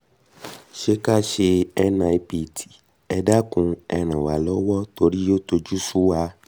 sé kí a ṣe nipt? ẹ dákun ẹ ràn wá lọ́wọ́ torí ó tojú sú wa